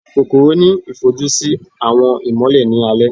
kòkorò ni ifojusi si awọn imọlẹ ni alẹ.